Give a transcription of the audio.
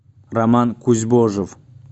роман кузьбожев